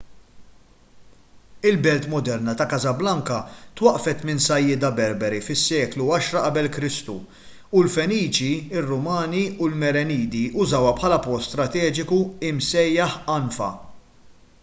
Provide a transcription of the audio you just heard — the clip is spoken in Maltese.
il-belt moderna ta' casablanca twaqqfet minn sajjieda berberi fis-seklu 10 q.e.k. u l-feniċi ir-rumani u l-merenidi użawha bħala port strateġiku msejjaħ anfa